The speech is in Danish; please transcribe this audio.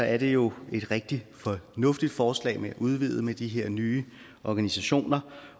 er det jo et rigtig fornuftigt forslag at udvide med de her nye organisationer